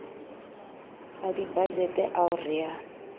a dibajete ao re a